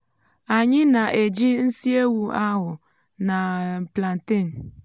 anyị nà éjị nsị ewụ áhù na um plantain